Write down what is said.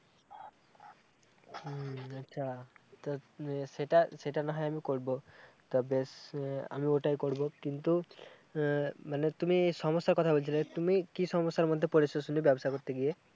হম আচ্ছা তা সেটা সেটা না হয় আমি করব তবে বেশ আমি ওটাই করব কিন্তু আহ মানে তুমি সমস্যার কথা বলছিলে তুমি কি সমস্যার মধ্যে পড়েছ শুনি ব্যবসা করতে গিয়ে